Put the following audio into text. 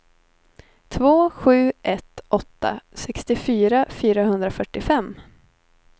två sju ett åtta sextiofyra fyrahundrafyrtiofem